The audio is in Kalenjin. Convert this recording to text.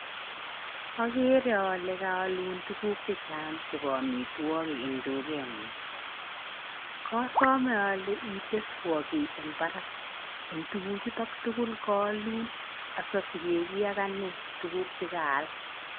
Agere ale kaolun tuguk chechang chepo amtiwokik eng dukek ngung , kasome ale iteswo ki eng barak eng tukuk chutok tukul kaolun asasikiegin ane eng tukuk kaal